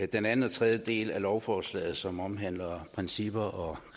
den anden og tredje del af lovforslaget som omhandler principper og